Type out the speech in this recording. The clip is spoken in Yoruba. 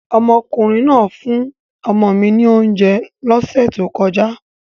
Omokunrin naa fun omo mi ni ounje lose to koja